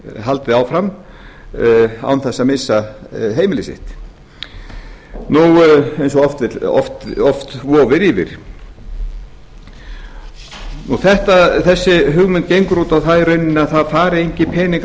haldið áfram án þess að missa heimili sitt eins og oft vofir yfir þessi hugmynd gengur út á það í rauninni að að fari engir peningar